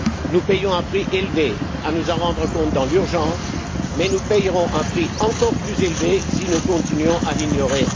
Nous payons un prix élevé à nous en rendre compte dans l'urgence, mais nous paierons un prix encore plus élevé si nous continuons à l'ignorer.